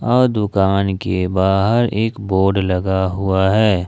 और दुकान के बाहर एक बोर्ड लगा हुआ है।